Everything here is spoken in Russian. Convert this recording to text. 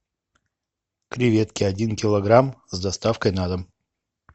креветки один килограмм с доставкой на дом